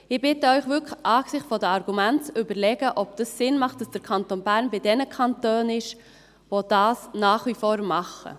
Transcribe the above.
Ich bitte Sie wirklich, angesichts der Argumente zu überlegen, ob es Sinn macht, dass der Kanton Bern bei jenen Kantonen ist, die dies nach wie vor tun.